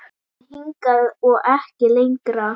En hingað og ekki lengra.